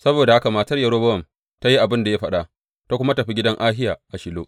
Saboda haka matar Yerobowam ta yi abin da ya faɗa, ta kuma tafi gidan Ahiya a Shilo.